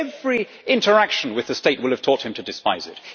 His every interaction with the state will have taught him to despise it.